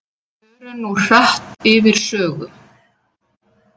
Förum nú hratt yfir sögu.